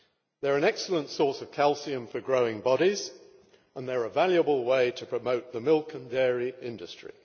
They are an excellent source of calcium for growing bodies and they are a valuable way to promote the milk and dairy industry.